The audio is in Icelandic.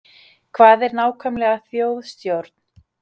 Hvað er nákvæmlega þjóðstjórn?